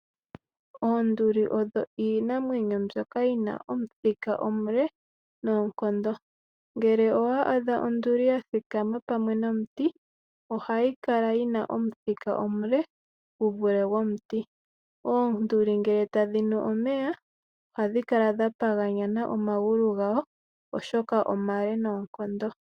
Oonduli odho iinamwenyo mbyoka yina omuthika omule noonkondo. Ngele owa adha onduli yathikama pamwe nomuti, ohayi kala yina omuthika omule guvule gwomuti. Oonduli ngele tadhi nu omeya , ohadhi kala dha paganyana omagulu gadho oshoka omale noonkondo.